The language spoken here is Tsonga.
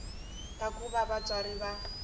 ka ku va vatswari va